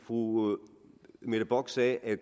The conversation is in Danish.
fru mette bock sagde at